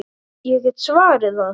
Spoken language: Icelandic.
Ég get svarið það.